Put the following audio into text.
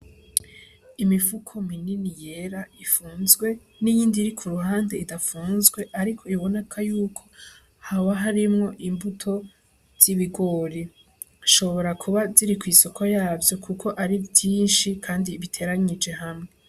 Imifuko minini yera ifunzwe n'iyindi iri kuruhande idafunzwe ariko biboneka yuko haba harimwo imbuto z'ibigori, hashobora kuba ziri kw'isoko yavyo kuko ari vyinshi kandi biteranije hamwe.